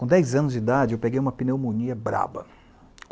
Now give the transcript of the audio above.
Com dez anos de idade, eu peguei uma pneumonia braba.